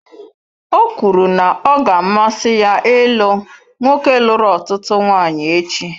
Ọ kwuru na ọ ga-amasị ya ịlụ nwoke lụrụ ọtụtụ nwanyị echi.